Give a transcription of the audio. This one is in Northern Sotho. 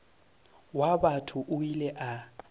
wa batho o ile a